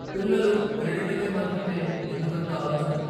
పిల్లలూ , క్రెడిట్లపై మాత్రమే ఎందుకు అంత ఆలోచన?